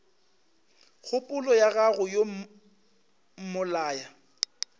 kgopolo ya go yo mmolaya